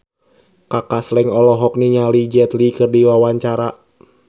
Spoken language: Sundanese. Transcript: Kaka Slank olohok ningali Jet Li keur diwawancara